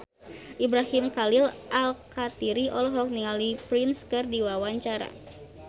Ibrahim Khalil Alkatiri olohok ningali Prince keur diwawancara